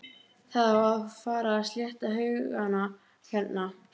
Það á að fara að slétta haugana hérna